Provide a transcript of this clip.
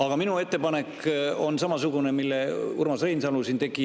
Aga minu ettepanek on samasugune, nagu Urmas Reinsalu siin tegi.